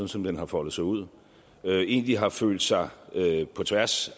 som den har foldet sig ud egentlig har følt sig på tværs